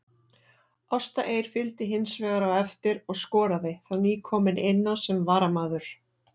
Ásta Eir fylgdi hinsvegar á eftir og skoraði, þá nýkomin inná sem varamaður.